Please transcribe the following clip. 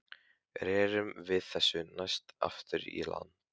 Rerum við þessu næst aftur í land.